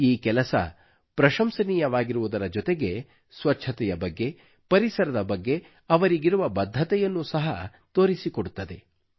ಈ ಕೆಲಸವು ಪ್ರಶಂಸನೀಯವಾಗಿರುವುದರ ಜೊತೆಗೆ ಸ್ವಚ್ಚತೆಯ ಬಗ್ಗೆ ಪರಿಸರದ ಬಗ್ಗೆ ಅವರಿಗಿರುವ ಬದ್ಧತೆಯನ್ನೂ ಸಹ ತೋರಿಸಿಕೊಡುತ್ತದೆ